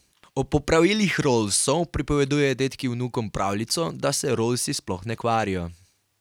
O popravilih rollsov pripovedujejo dedki vnukom pravljico, da se rollsi sploh ne kvarijo.